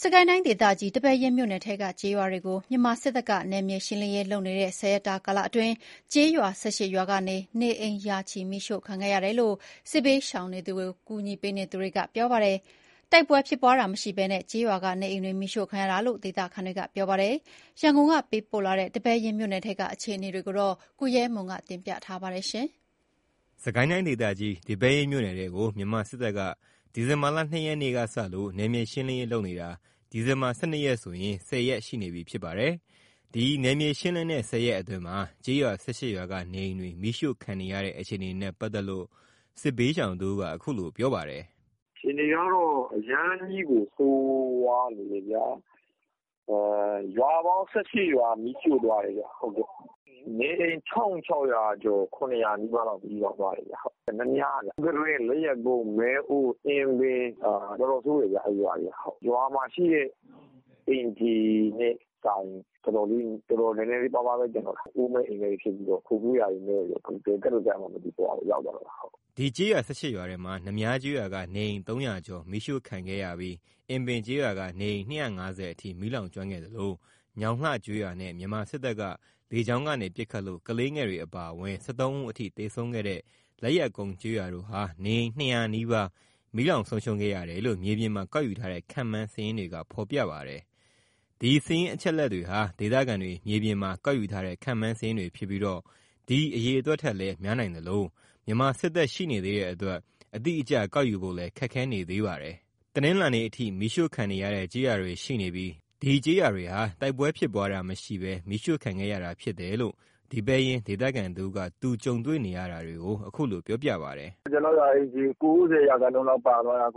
စစ်ကိုင်းတိုင်း ဒေသကြီး ဒီပဲယင်းမြို့နယ်ထဲက ကျေးရွာတွေကို မြန်မာစစ်တပ်က နယ်မြေရှင်းလင်းရေး လုပ်နေတဲ့ ၁၀ ရက်အတွင်း ကျေးရွာ ၁၈ ရွာက နေအိမ်တွေ ရာချီ မီးရှို့ခံခဲ့ရတယ်လို့ စစ်ဘေးရှောင်တွေကို ကူညီပေးနေသူတွေကပြောပါတယ်။ တိုက်ပွဲဖြစ်ပွားတာမရှိဘဲ ကျေးရွာက နေအိမ်တွေမီးရှို့ခံရတာလို့ ဒေသခံတွေက ပြောပါတယ်။ ရန်ကုန်ကပေးပို့လာတဲ့ ဒီပဲယင်းမြို့နယ်ထဲက အခြေအနေတွေကို ကိုရဲမွန် ကပြောပြပါမယ်။ စစ်ကိုင်းတိုင်း ဒေသကြီး ဒီပဲယင်းမြို့နယ်ထဲကို မြန်မာစစ်တပ်က ဒီဇင်ဘာ ၂ ရက်နေ့က စလို့ နယ်မြေရှင်းလင်းရေး လုပ်နေတာ ဒီဇင်ဘာ ၁၂ ရက်ဆိုရင် ၁၀ ရက်ရှိနေပြီဖြစ်ပါတယ်။ ဒီနယ်မြေရှင်းလင်းတဲ့ ၁၀ ရက်အတွင်းမှာ ကျေးရွာ ၁၈ ရွာက နေအိမ်တွေ မီးရှို့ခံနေရတဲ့အခြေအနေနဲ့ ပတ်သက်လို့ စစ်ဘေးရှောင်တဦးက အခုလိုပြောပါတယ်။ “အခြေအနေက အရမ်းကြီးကိုဆိုးရွားနေတယ်။ ရွာပေါင်း ၁၈ ရွာ မီးရှို့သွားတယ်။ နေအိမ် ၁၆၀၀ ကျော် ၁၇၀၀ နီးပါး မီးလောင်သွားတယ်။ နများ ၊ မူးကတွင်း ၊ လက်ယက်ကုန်း ၊ မဲအိုး ၊ အင်ပင် အဲ့ရွာတွေက တော်တော်ဆိုးတယ်ခင်ဗျ။ ရွာမှာရှိတဲ့ အိမ်ခြေထက်စာရင် တော်တော်နည်းနည်းပါးပါးပဲကျန်တော့တာ။ အိုးမဲ့အိမ်မဲ့တွေဖြစ်ပြီး ခိုးကိုးရာမဲ့ပြီး ဘယ်ကပ်လို့ကပ်ရမှန်းမသိတဲ့ ဘဝကိုရောက်သွားတာ။” ဒီကျေးရွာ ၁၈ ရွာထဲမှာ နများကျေးရွာက နေအိမ် ၃၀၀ ကျော်မီးရှို့ခံခဲ့ပြီး အင်ပင် ကျေးရွာက နေအိမ် ၂၅၀အထိ မီးလောင်ကျွမ်းခဲ့သလို ညောင်လှကျေးရွာနဲ့ မြန်မာစစ်တပ်က လေကြောင်းကနေ ပစ်ခတ်လို့ ကလေးငယ်တွေအပါအဝင် ၁၃ ဦးအထိ သေဆုံးခဲ့တဲ့ လက်ယက်ကုန်းကျေးရွာတို့ဟာ နေအိမ် ၂၀၀ နီးပါး မီးလောင်ဆုံးရှုံးခဲ့ရတယ်လို့ မြေပြင်မှာ ကောက်ယူထားတဲ့ ခန့်မှန်းစာရင်းတွေက ဖော်ပြပါတယ်။ ဒီစာရင်းအချက်အလက်တွေဟာ ဒေသခံတွေ မြေပြင်မှာကောက်ယူထားတဲ့ခန့်မှန်းစာရင်းတွေဖြစ်ပြီး ဒီအရေအတွက်ထက်လည်း များနိုင်သလို မြန်မာစစ်တပ်ရှိနေသေးတဲ့အတွက် အတိအကျ ကောက်ယူဖို့ ခက်ခဲနေပါတယ်။ တနလာၤနေ့ အထိ မီးရှို့ခံနေရတဲ့ကျေးရွာတွေရှိနေပြီး ကျေးရွာတွေဟာ တိုက်ပွဲဖြစ်ပွားတာမရှိဘဲ မီးရှို့ခံခဲ့ရတာဖြစ်သလိုတယ်လို့ ဒီပဲယင်း ဒေသခံတဦးက သူကြုံတွေ့နေရတာကို အခုလိုပြောပါတယ်။ “ကျွန်တော့်ရွာအိမ်ခြေ ၉၀ ရာခိုင်နှုန်းလောက်ပါသွားတယ်။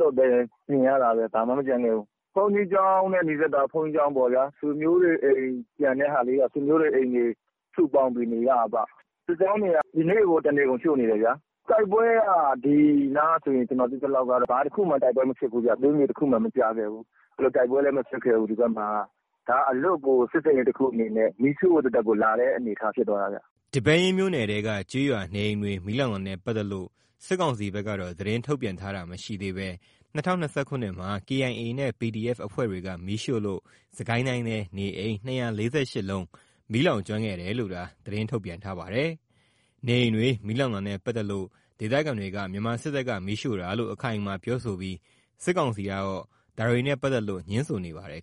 သွပ်ပဲမြင်ရတာပဲ ဘာမှမကျန်ခဲ့ဘူး။ ဘုန်းကြီးကျောင်းနဲ့နီးစပ်တာ ဘုန်းကြီးကျောင်းပေါ့ ဆွေမျိုးတွေအိမ်ကျန်တဲ့ဟာလေးတွေက ဆွေမျိုးတွေအိမ် စုပေါင်းပြီးနေရတာပေါ့။ စစ်ကြောင်းတွေက ဒီနေ့ကို တနေကုန်ရှို့နေတယ်။ တိုက်ပွဲကကျွန်တော်သိသလောက် ဘာတခုမှ တိုက်ပွဲမဖြစ်ဘူးဗျ။ သွေးမြေတခုမှ မကျခဲ့ဘူး။ တိုက်ပွဲလည်းမဖြစ်ခဲဘူး ဒီဘက်မှာက ဒါက အလွတ်ကို စစ်ဆင်ရေးတခုအနေနဲ့ မီးရှို့ဖို့ သက်သက်ကို လာတဲ့အနေအထားဖြစ်သွားတာဗျ။” ဒီပဲယင်းမြို့နယ်ထဲကကျေးရွာ နေအိမ်တွေမီးလောင်တာနဲ့ ပတ်သက်လို့ စစ်ကောင်စီဘက်ကတော့ သတင်းထုတ်ပြန်တာမရှိသေးဘဲ ၂၀၂၂ ခုနှစ်မှာ KIA နဲ့ PDF အဖွဲ့တွေက မီးရှို့လို့ စစ်ကိုင်းတိုင်းထဲ နေအိမ် ၂၄၈ လုံးမီးလောင်ကျွမ်းခဲ့တယ်လို့သာ သတင်းထုတ်ပြန်ထားပါတယ်။ နေအိမ်တွေမီးလောင်တာနဲ့ပတ်သက်လို့ ဒေသခံတွေက မြန်မာစစ်တပ်က မီးရှို့တာလို့ အခိုင်အမာပြောဆိုပြီး စစ်ကောင်စီကတော့ ဒါတွေနဲ့ပတ်သက်လို့ ငြင်းဆိုနေပါတယ်